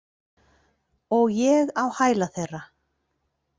Og ég á hæla þeirra.